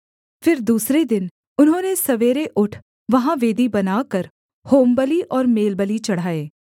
फिर दूसरे दिन उन्होंने सवेरे उठ वहाँ वेदी बनाकर होमबलि और मेलबलि चढ़ाए